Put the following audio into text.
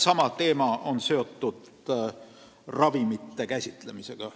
Sama teema on seotud ravimite käsitsemisega.